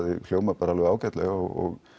hljómar bara alveg ágætlega og